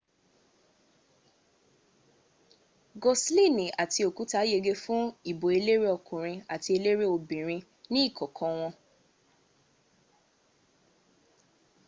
goslini àti okuta yege fún ìbò eléré ọkùnrin àti eléré obinrin ní kọ̀kan wọn